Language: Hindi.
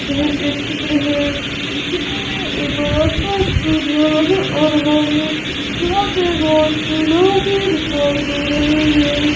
यह एक चित्र है इस चित्र मे एक बड़ा सा स्टेडियम नजर आ रहा है जहा पे बहोत से लोग भी दिखायी दे रहे है।